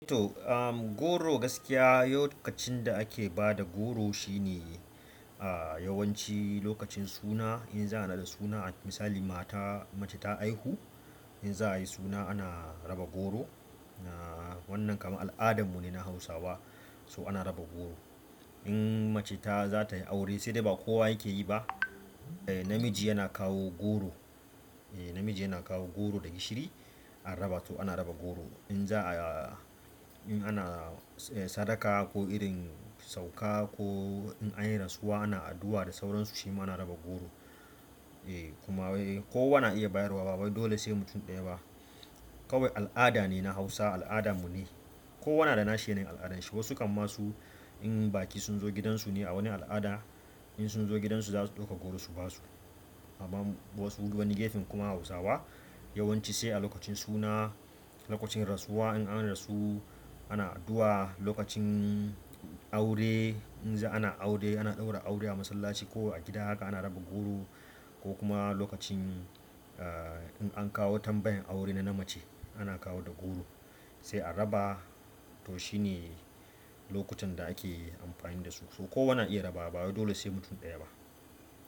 To, am goro gaskiya lokacin da ake ba da goro shine ah yawanci lokacin suna. In za'a nada suna misali mata mace ta haihu in za a yi suna ana raba goro. Wannan kamar al'adamu ne na Hausawa, so ana raba goro. In mace ta zatai aure sai dai ba kowa yake yi ba. Namiji yana kawo goro, eh namiji yana kawo goro da gishiri an raba to ana raba goro in za-- in ana sadaka ko irin sauka ko in anyi rasuwa ana addu'a da sauransu shi ma ana raba goro eh kuma kowa na iya bayarwa ba dole sai mutum ɗaya ba. Kawai al'ada ne na Hausa al'adamu ne. Kowa na da nashi yana yin al'adanshi. Wasu kam ma su in baƙi sun zo gidansu ne a wani al'ada in sun zo gidansu za su ɗauka goro su basu. Amma wasu wani gefen kuma Hausawa yawanci sai a lokacin suna, lokacin rasuwa in an rasu ana addu'a, lokacin aure in za ana aure ana ɗaura aure a masallaci ko a gida haka ana raba goro ko kuma lokacin in an kawo tambayan aure na na mace ana kawo da goro sai a raba to shine lokutan da ake amfani da su. So kowa na iya rabawa ba dole sai mutum ɗaya ba.